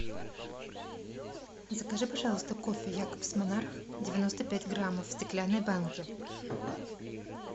закажи пожалуйста кофе якобс монарх девяносто пять граммов в стеклянной банке